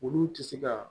Olu tɛ se ka